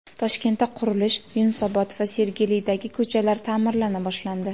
Toshkentda qurilish: Yunusobod va Sergelidagi ko‘chalar ta’mirlana boshlandi.